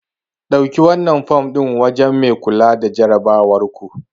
Dauki wannan fom din wajen mai kula da jarabawarku.